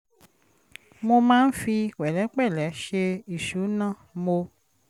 mo máa ń fi pẹ̀lẹ́pẹ̀lẹ́ ṣe ìṣúná mo